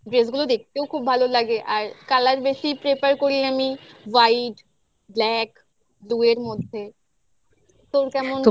dress গুলো দেখতেও খুব ভালো লাগে আর colour বেশি prefer করি আমি white black দুয়ের মধ্যে তোর কেমন লা